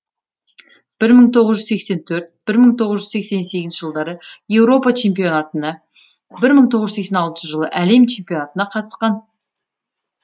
бір мың тоғыз жүз сексен төртінші бір мың тоғыз жүз сексен сегізінші жылдары еуропа чемпионатына бір мың тоғыз жүз сексен алтыншы жылы әлем чемпионатына қатысқан